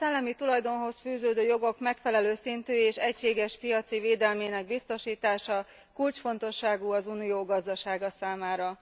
A szellemi tulajdonhoz fűződő jogok megfelelő szintű és egységes piaci védelmének biztosítása kulcsfontosságú az Unió gazdasága számára.